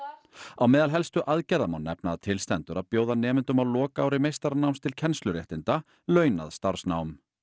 á meðal helstu aðgerða má nefna að til stendur að bjóða nemendum á lokaári meistaranáms til kennsluréttinda launað starfsnám